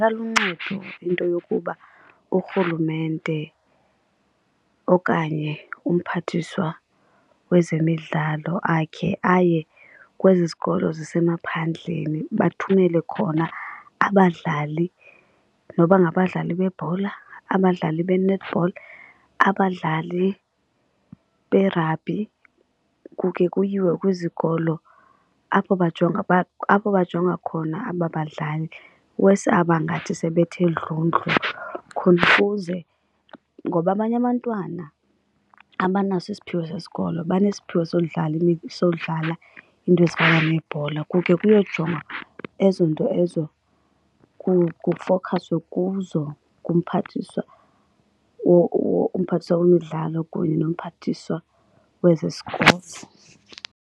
Ingaluncedo into yokuba urhulumente okanye umphathiswa wezemidlalo akhe aye kwezi zikolo zisemaphandleni bathumele khona abadlali noba ngabadlali bebhola, abadlali be-netball, abadlali be-rugby. Kukhe kuyiwe kwizikolo apho bajonga apho bajonga khona aba badlali, i-worse aba ngathi sebethe dlundlu khona ukuze. Ngoba abanye abantwana abanaso isiphiwo sesikolo banesiphiwo sodlala sodlala iinto ezifana neebhola. Kukhe kuyojongwa ezo nto ezo kufowukhaswe kuzo ngumphathiswa umphathiswa wemidlalo kunye nomphathiswa weze-sports.